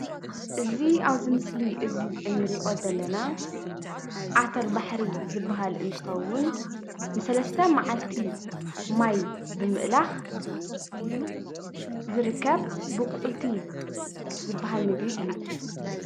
እዚ ኣብ ምስሊ እዚ ንሪኦ ዘለና ዓተር ባሕሪ ዝበሃል እንትኸውን ንሰለስተ መዓልቲ ማይ ብምእላኽ ዝርከብ ቡቊልቲ ዝበሃል ምግቢ እዩ፡፡